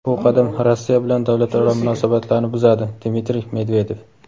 bu qadam Rossiya bilan davlatlararo munosabatlarni buzadi – Dmitriy Medvedev.